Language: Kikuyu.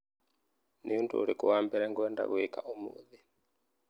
Nĩ ũndũ ũrĩkũ wa mbere ngwenda gwĩka ũmũthĩ?